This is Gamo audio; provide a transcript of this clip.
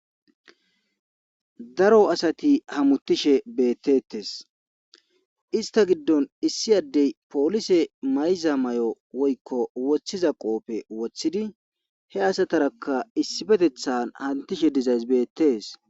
Daro asati hamutishe beettettes ista giddon issi addey poolise mayza may7o woykko woththiza qooppe woththidi he asataraka issibetethan hantishe dizays beettees.